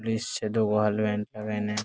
Greece छे दुगो लगाई ना।